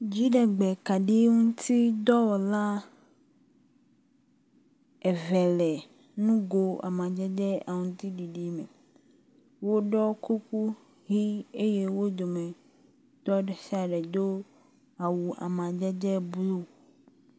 Dziɖegbekaɖiŋuti dɔwɔla eve le nugo amadede aŋutiɖiɖi me, woɖɔ kuku ɣi eyɛ wó dometɔ ɖesiaɖe do awu amadede blu